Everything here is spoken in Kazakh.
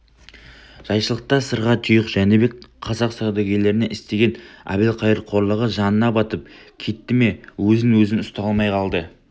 жайшылықта сырға тұйық жәнібек қазақ саудагерлеріне істеген әбілқайыр қорлығы жанына батып кетті ме өзін-өзі ұстай алмай қалды